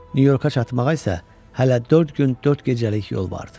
New Yorka çatmağa isə hələ dörd gün, dörd gecəlik yol vardı.